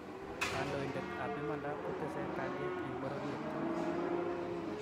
kandoinatet ab imanda kotesei kalyet eng pororiet